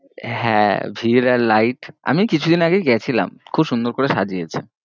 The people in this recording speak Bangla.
হ্যাঁ ভিড় আর light আমি কিছুদিন আগেই গেছিলাম, খুব সুন্দর করে সজিয়েছে।